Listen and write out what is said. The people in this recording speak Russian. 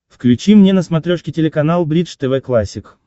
включи мне на смотрешке телеканал бридж тв классик